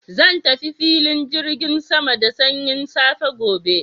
Zan tafi filin jirgin sama da sanyin safiya gobe.